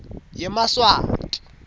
yemaswati